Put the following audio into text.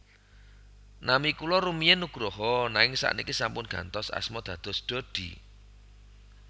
Nami kula rumiyin Nugroho nanging sakniki sampun gantos asma dados Dodi